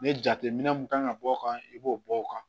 Ni jateminɛ mun kan ka bɔ o kan i b'o bɔ o kan